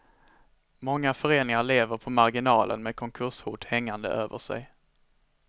Många föreningar lever på marginalen med konkurshot hängande över sig.